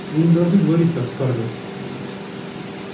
вы не должны говорить так скарлетт